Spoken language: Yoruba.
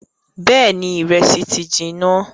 Bẹẹni ìrẹsì ti jiná